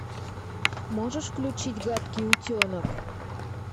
можешь включить гадкий утенок